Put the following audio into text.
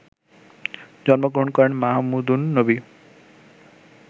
জন্মগ্রহণ করেন মাহমুদ উন-নবী